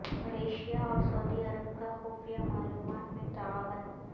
Malaysia اور سعودی عرب کا خفیہ معلومات میں تعاون